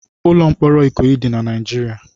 Ụlọ mkpọrọ Ikoyi dị na Naịjirịa